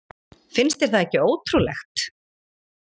Finnst þér það ekki ótrúlegt?